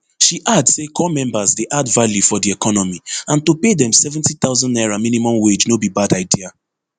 she add say corps members dey add value for di economy and to pay dem seventy thousand naira minimum wage no be bad idea